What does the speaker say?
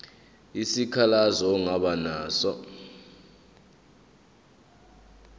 isikhalazo ongaba naso